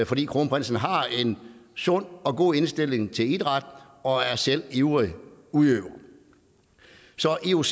fordi kronprinsen har en sund og god indstilling til idræt og selv er ivrig udøver så ioc